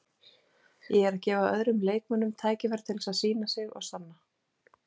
Ég er að gefa öðrum leikmönnum tækifæri til þess að sýna sig og sanna.